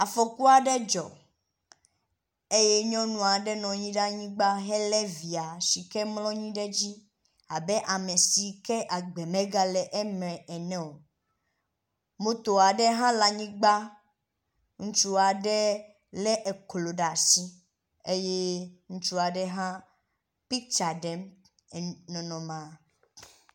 Afɔku aɖe dzɔ eye nyɔnu aɖe nɔ anyi ɖe anyigba hele via si ke mlɔ anyi ɖe edzi abe ame si ke me agbe megale la ene o. moto aɖe hã le anyigba ŋutsu aɖe le eklo ɖe asi eye ŋutsu aɖe hã pitsa ɖem nɔnɔmea.